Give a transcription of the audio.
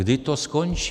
Kdy to skončí?